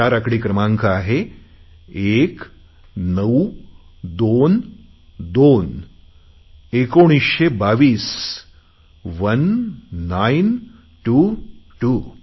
तो चार आकडी क्रमांक आहे एक नऊ दोन दोन एकोणीसशे बावीस वन नाईन टू टू